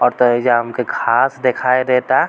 और ता ऐजा हमके घास दिखाई देता।